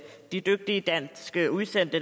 de dygtige danske udsendte